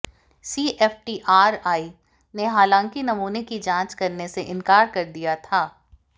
CFTRI ने हालांकि नमूने की जांच करने से इंकार कर दिया था